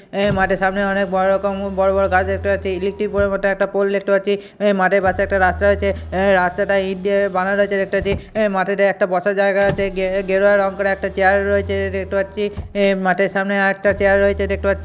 অ্যাঁ মাঠের সামনে অনেক বড় রকম বড়-বড় গাছ দেখতে পাচ্ছি। ইলেকট্রিক পোল এর মত একটা পোল দেখতে পাচ্ছি। মাঠের পাশে একটা রাস্তা রয়েছে রাস্তাটা ইট দিয়ে বানানা রয়েছে দেখতে পাচ্ছি। মাঠেতে একটি বসার জায়গা আছে। গে-গেরুয়া রঙ করা একটা চেয়ার রয়েছে দেখতে পাচ্ছি। অ্যাঁ মাঠের সামনে আর একটা চেয়ার রয়েছে দেখতে পাচ্ছি।